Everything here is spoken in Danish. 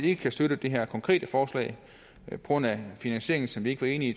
ikke kan støtte det her konkrete forslag på grund af finansieringen som vi ikke var enige i